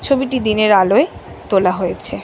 ছবিটি দিনের আলোয় তোলা হয়েছে।